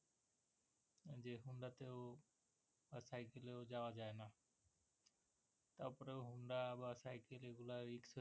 তারপরেও honda বা cycle এগুলে রিস্ক আছে তো যাওয়া যায়না